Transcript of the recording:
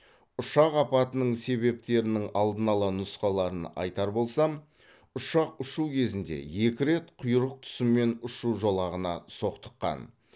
ұшақ апатының себептерінің алдын ала нұсқаларын айтар болсам ұшақ ұшу кезінде екі рет құйрық тұсымен ұшу жолағына соқтыққан